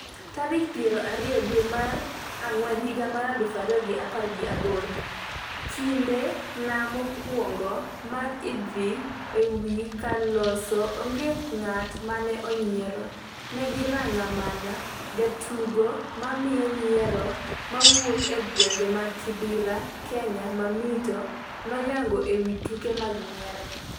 tarik piero ariyo dwe mar dwe mar Ang'wen higa mar aluf ariyo gi apar gi aboro 'Kinde na mokwongo mar idho ewi kar loso onge ng'at mane onyiero, ne girang'a mana!' Jatugo ma miyo nyiero mawuok e gwenge mag Kibera Kenya 'Mamito' no yango ewi tuke mag nyiero.